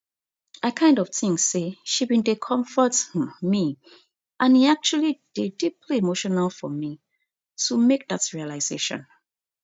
i kind of think say she bin dey comfort um me and e actually dey deeply emotional for me to make dat realisation